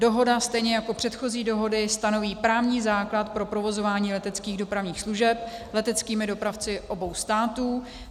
Dohoda stejně jako předchozí dohody stanoví právní základ pro provozování leteckých dopravních služeb leteckými dopravci obou států.